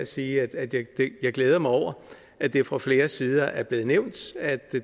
sige at jeg glæder mig over at det fra flere sider er blevet nævnt at